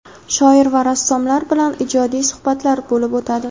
shoir va rassomlar bilan ijodiy suhbatlar bo‘lib o‘tadi.